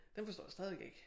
Dem forstår jeg stadigvæk ikke